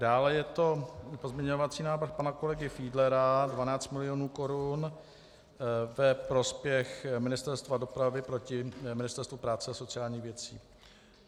Dále je to pozměňovací návrh pana kolegy Fiedlera, 12 milionů korun, ve prospěch Ministerstva dopravy proti Ministerstvu práce a sociálních věcí.